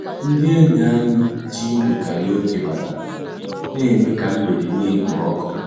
Ndị́ ényí ànyị́ jì ígwè kàràókè batàrà, ná-èmè ká mgbedé ná-èkpò ọ́kụ́.